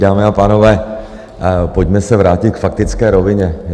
Dámy a pánové, pojďme se vrátit k faktické rovině.